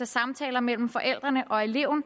samtaler mellem forældrene og eleven